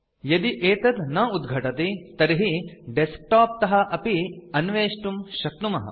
यदि एतत् न उद्घटति तर्हि डेस्कटॉप तः अपि अन्वेष्टुं शक्नुमः